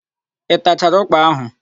Ị tachara ụ́kpà áhụ̀?